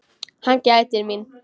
Hann gætir mín.